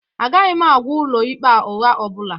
Agaghị m agwa Ụlọikpe a ụgha ọ bụla